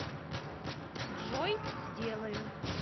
джой сделаю